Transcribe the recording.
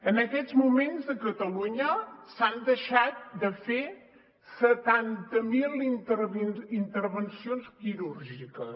en aquests moments a catalunya s’han deixat de fer setanta mil intervencions quirúrgiques